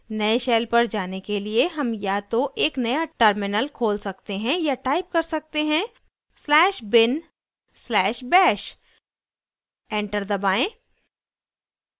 नए shell पर जाने के लिए हम या तो एक नया terminal खोल सकते हैं या type कर सकते हैं slash bin slash bash enter दबाएं